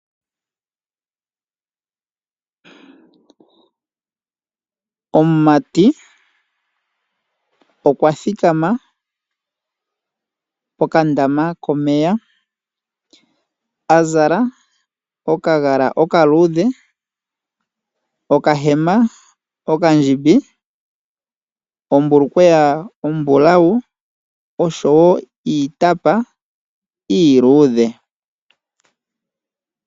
Omumati okwa thikama pokandama komeya a zala okagala okaluudhe, okahema okandjimbi, ombulukweya ombulau oshowo iitapa iiluudhe.